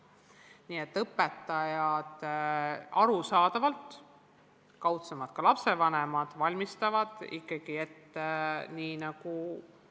Nii et arusaadavalt õpetajad, kaudsemalt ka lapsevanemad valmistavad lapsi ette ikkagi eksamiks.